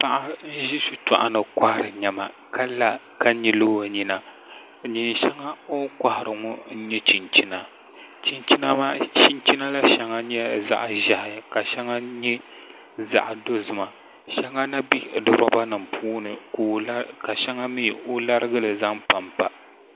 Paɣa n ʒi shitoɣu ni kohari niɛma ka la ka nyili o nyina neen shɛŋa k ni kohari ŋo n nyɛ chinchina chinchina maa shɛŋa nyɛla zaɣ ʒiɛhi ka shɛŋa nyɛ zaɣ dozima shɛŋa na bɛ roba nim puuni ka shɛŋa mii o larigili zaŋ panpa